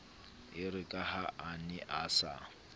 erekaha a ne a sa